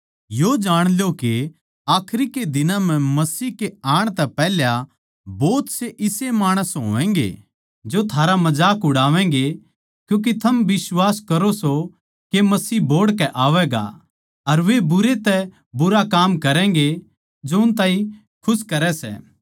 यो जाण ल्यो के आखरी के दिनां म्ह मसीह के आण तै पैहल्या भोत से इसे माणस होवैंगे जो थारा मजाक उड़ावैंगे क्यूँके थम बिश्वास करो सों के मसीह बोहड़ के आवैगा अर वे बुरे तै बुरा काम करैगें जो उन ताहीं खुश करै सै